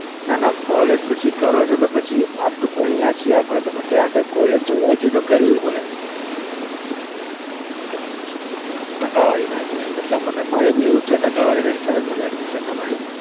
નાના college પછી કરો પછી આટલું ભણ્યા છીએ આપડે તો આગળ college જોવા જઈએ તો કરવી પડે અચ્છા ટકાવારી ન હતી આવી એટલા માટે મારે भी એવું જ છે ટકાવારી ના હિસાબે જ મને admission ન મળ્યું.